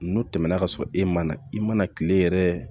N'o tɛmɛna ka sɔrɔ e ma na i mana tile yɛrɛ